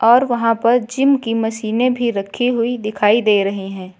और वहां पर जिम की मशीनें भी रखी हुई दिखाई दे रही हैं।